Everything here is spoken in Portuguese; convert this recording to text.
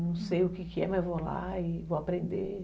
Não sei o que que é, mas vou lá e vou aprender.